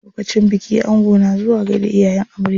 Lokacin biki ango na zuwa gaida iyayen amarya.